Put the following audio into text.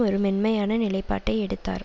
ஒரு மென்மையான நிலைப்பாட்டை எடுத்தார்